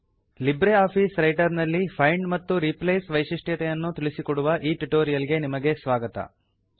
Libre Office Writer ನಲ್ಲಿ find ಮತ್ತು replace ವೈಶಿಷ್ಟ್ಯತೆಯನ್ನು ತಿಳಿಸಿಕೊಡುವ ಈ ಟ್ಯುಟೋರಿಯಲ್ ಗೆ ನಿಮಗೆ ಸ್ವಾಗತ